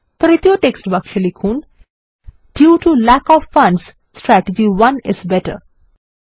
তৃতীয় টেক্সট বাক্সে লিখুন160 due to lack of funds strategy 1 is better